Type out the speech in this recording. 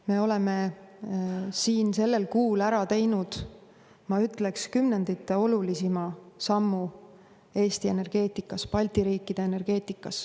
Me oleme sellel kuul ära teinud, ma ütleks, kümnendite olulisima sammu Eesti energeetikas, Balti riikide energeetikas.